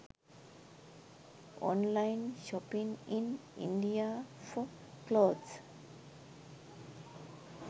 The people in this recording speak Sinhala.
online shopping in india for clothes